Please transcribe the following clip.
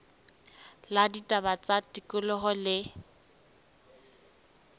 la ditaba tsa tikoloho le